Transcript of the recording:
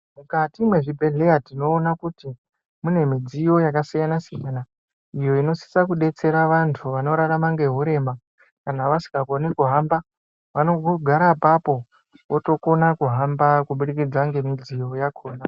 Mukati mwezvibhedhleya tinoona kuti ,mune midziyo yakasiyana-siyana, iyo inosisa kudetsera vantu vanorarama ngehurema kana vasikakoni kuhamba, vanongongara apapo, votokona kuhamba kubudikidza ngemidziyo yakhona.